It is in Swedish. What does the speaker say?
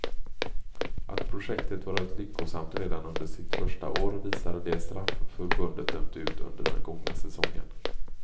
Att projektet varit lyckosamt redan under sitt första år visar de straff förbundet dömt ut under den gångna säsongen.